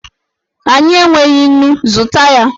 Anyị enweghị nnu! zụta ya